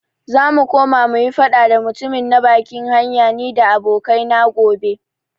Zamu koma muyi faɗa da mutumin na bakin hanya nida abokai na gobe.